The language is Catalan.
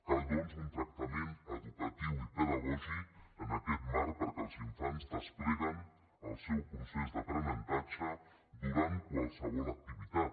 cal doncs un tractament educatiu i pedagògic en aquest marc perquè els infants despleguen el seu procés d’aprenentatge durant qualsevol activitat